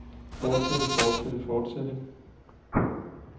fortsætte fortsætte fortsætte